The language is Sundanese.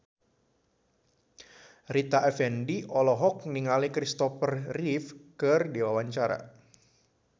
Rita Effendy olohok ningali Christopher Reeve keur diwawancara